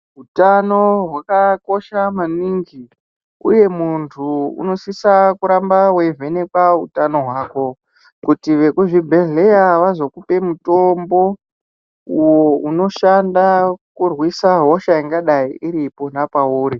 Utano hwakakosha maningi. Uye muntu unosisa kuramba weivhenekwa utano hwako kuti vekuzvibhehleya vazokupe mutombo uwo unoshanda kurwisa hosha ingadai iripoma pauri.